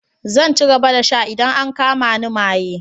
Zan ci gaba da sha idan an kama ni maye.